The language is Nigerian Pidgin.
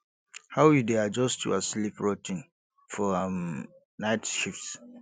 how you dey adjust your sleep routine for um night shifts